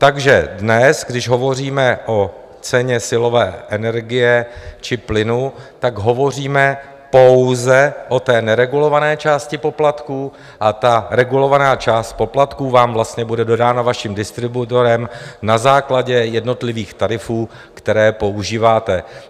Takže dnes, když hovoříme o ceně silové energie či plynu, tak hovoříme pouze o té neregulované části poplatků, a ta regulovaná část poplatků vám vlastně bude dodána vaším distributorem na základě jednotlivých tarifů, které používáte.